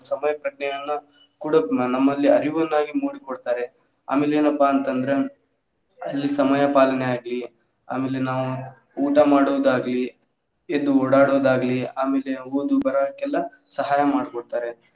ಅವ್ರ ಸಮಯ ಪ್ರಜ್ಞೆಯನ್ನ ಕೂಡ ನಮ್ಮಲ್ಲಿ ಅರಿವನ್ನಾಗಿ ನೋಡಿಕೊಳ್ಳತಾರೆ ಆಮೇಲೆ ಏನಪ್ಪಾ ಅಂತ ಅಂದ್ರೆ ಅಲ್ಲಿ ಸಮಯ ಪಾಲನೆ ಆಗ್ಲಿ ಆಮೇಲೆ ನಾವು ಊಟ ಮಾಡೋದ್ ಆಗ್ಲಿ, ಎದ್ದ್ ಓಡಾಡೋದ್ ಆಗ್ಲಿ ಆಮೇಲೆ ಓದು ಬರಹಕ್ಕೆಲ್ಲಾ ಸಹಾಯ ಮಾಡ್ ಕೊರ್ತಾರೆ.